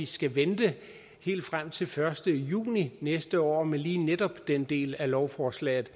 skal vente helt frem til den første juni næste år med lige netop den del af lovforslaget